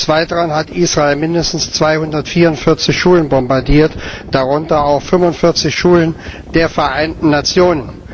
Des Weiteren hat Israel mindestens 244 Schulen bombardiert, darunter auch 45 Schulen der Vereinten Nationen.